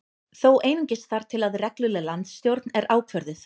Þó einungis þar til að regluleg landsstjórn er ákvörðuð